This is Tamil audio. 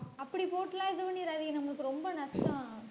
அப்படி போட்டெல்லாம் இது பண்ணிராதிங்க நம்மளுக்கு ரொம்ப நஷ்டம்